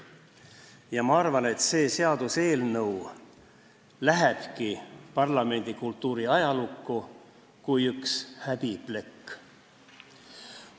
Ja ma arvan, et see seaduseelnõu läheb parlamendikultuuri ajalukku kui üks häbiplekk.